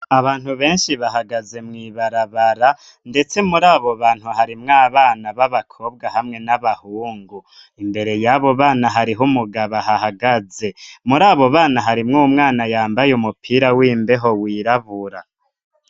Abantu benshi bahagaze mw'ibarabara, ndetse muri abo bantu harimwo abana b'abakobwa hamwe n'abahungu, imbere y'abo bana hariho umugabo ahahagaze, muri abo bana harimwo umwana yambaye umupira w'imbeho wirabura.